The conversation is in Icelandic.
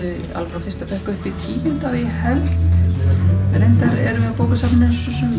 frá fyrsta bekk upp í tíunda að ég held reyndar erum við á bókasafninu